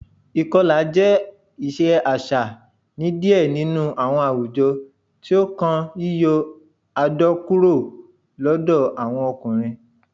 Ikọla jẹ iṣe aṣa ni diẹ ninu awọn awujọ, ti o kan yiyọ adọ kuro lọdọ awọn ọkunrin.